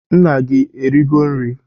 Nna gi erigo nri?